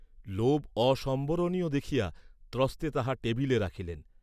লোভ অসম্বরণীয় দেখিয়া ত্রস্তে তাহা টেবিলে রাখিলেন।